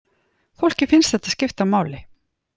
Fólki finnst þetta skipta máli